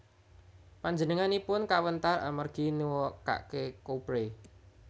Panjenenganipun kawentar amargi neukake Kouprey